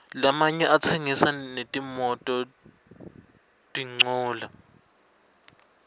lamanye atsengisa netimototincola